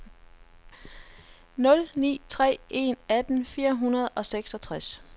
nul ni tre en atten fire hundrede og seksogtres